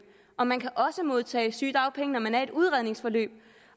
og man kan også modtage sygedagpenge når man er i et udredningsforløb